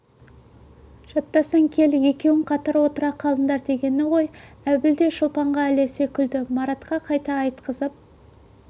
жаттасаң кел екеуің қатар отыра қалыңдар дегені ғой әбіл де шолпанға ілесе күлді маратқа қайта айтқызып